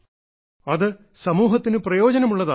അത് സമൂഹത്തിന് പ്രയോജനമുള്ളതാകണം